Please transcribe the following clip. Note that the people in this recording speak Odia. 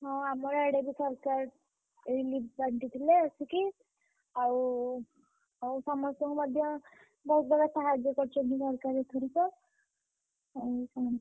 ହଁ ଆମର ଆଡେ ବି ସରକାର, relief ବାଣ୍ଟିଥିଲେ ଆସିକି। ଆଉ, ଆଉ ସମସ୍ତଙ୍କୁ ମଧ୍ୟ, ବହୁତ୍ ବଡ ସାହଯ୍ୟ କରିଛନ୍ତି ସରକାର ଏଥରିକ, ଆଉ କଣ?